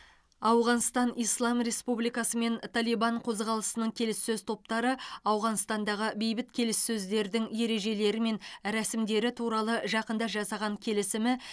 ауғанстан ислам республикасы мен талибан қозғалысының келіссөз топтары ауғанстандағы бейбіт келіссөздердің ережелері мен рәсімдері туралы жақында жасаған келісімі